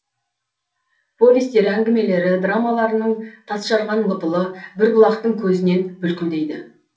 повестері әңгімелері драмаларының тас жарған лыпылы бір бұлақтың көзінен бүлкілдейді